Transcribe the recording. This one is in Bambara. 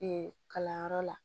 kalanyɔrɔ la